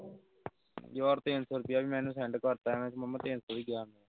ਯਾਰ ਤਿੱਨ ਸੌ ਰੁਪਿਆ ਵੀ ਮੈਂ ਇਨੂੰ send ਕਰਤਾ ਐਵੇਂ ਮਾਮਾ ਤਿੱਨ ਸੌ ਵੀ ਗਿਆ।